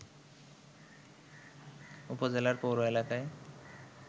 উপজেলার পৌর এলাকায়